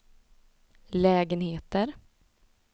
lägenheter